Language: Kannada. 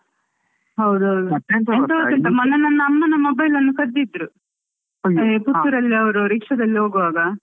ಹೌದೌದು, ಎಂತಾ ಅಂದ್ರೆ ಮೊನ್ನೆ ನನ್ನ ಅಮ್ಮನ mobile ಕದ್ದಿದ್ದರು ಅಲ್ಲೇ ಪುತ್ತೂರಲ್ಲಿ ಅವರು ರಿಕ್ಷದಲ್ಲಿ ಹೋಗುವಾಗ.